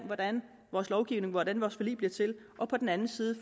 hvordan vores lovgivning hvordan vores forlig bliver til og på den anden side